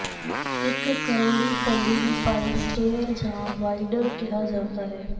ਇੱਕ ਕਰਵੜੀ ਪੌੜੀ ਨੂੰ ਪਾਈ ਸਟੇਅਰ ਜਾਂ ਵਾਇਡਰ ਕਿਹਾ ਜਾਂਦਾ ਹੈ